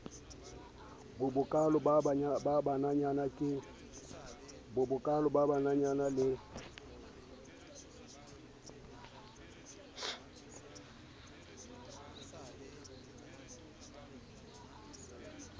bo bokaalo ho bannanyana le